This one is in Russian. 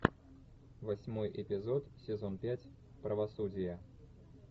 восьмой эпизод сезон пять правосудие